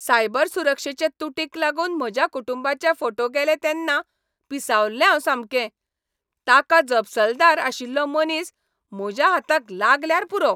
Cyber सुरक्षेचे तूटीक लागून म्हज्या कुटुंबाचे फोटो गेले तेन्ना पिसावल्लें हांव सामकें. ताका जपसालदार आशिल्लो मनीस म्हज्या हाताक लागल्यार पुरो!